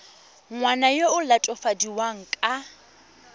ngwana yo o latofadiwang ka